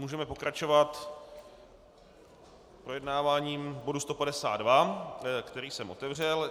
Můžeme pokračovat projednáváním bodu 152, který jsem otevřel.